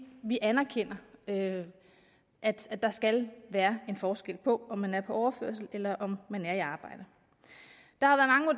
vi anerkender at at der skal være en forskel på om man er på overførsel eller om man er i arbejde